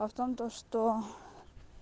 а в том то что